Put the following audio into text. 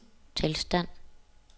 tilstand